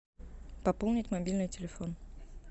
пополнить мобильный телефон